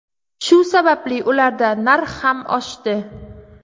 Shu sababli ularda narx ham oshdi.